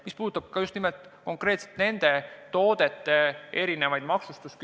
Ma pean silmas just nimelt konkreetselt nende toodete erinevat maksustamist.